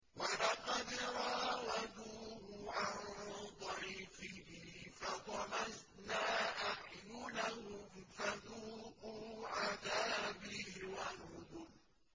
وَلَقَدْ رَاوَدُوهُ عَن ضَيْفِهِ فَطَمَسْنَا أَعْيُنَهُمْ فَذُوقُوا عَذَابِي وَنُذُرِ